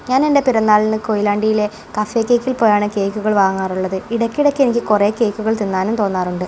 ഞാനെൻ്റെ പിറന്നാളിന് കൊയിലാണ്ടിയിലെ കഫേ കേക്കിൽ പോയാണ് കേക്കുകൾ വാങ്ങാറുള്ളത് ഇടക്കിടക്ക് എനിക്ക് കുറേ കേക്കുകൾ തിന്നാനും തോന്നാറുണ്ട്.